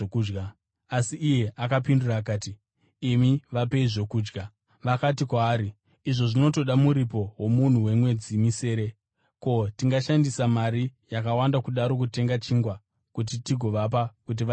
Asi iye akapindura akati, “Imi vapei zvokudya.” Vakati kwaari, “Izvo zvinotoda muripo womunhu wemwedzi misere! Ko, tingashandisa mari yakawanda kudaro kutenga chingwa kuti tigovapa kuti vadye here?”